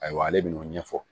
Ayiwa ale bin'o ɲɛfɔ